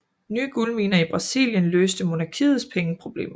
Nye guldminer i Brasilien løste monarkiets pengeproblemer